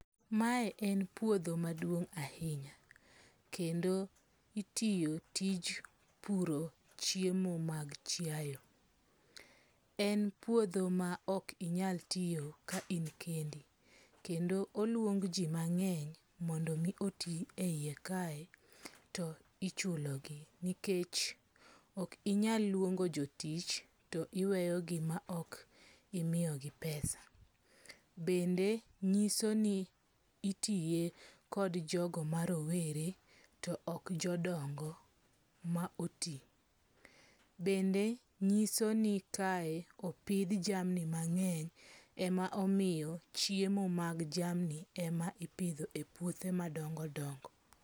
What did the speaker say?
Mae en puodho maduong' ahinya. Kendo itiyo tij puro chiemo mag chiae. en puodho ma ok inyal tiyo ka in kendi. Kendo oluong ji mang'eny mondo omi oti e yie kae to ichulo gi nikech ok inyal luongo jotich to iweyo gima ok imiyogi pesa. Bende nyiso ni itiye kod jogo ma rowere to ok jodongo ma oti. Bende nyiso ni kae opidh jamni mang'eny ema omiyo chiomo mag jamni e ma ipidho e puothe madongo dongo.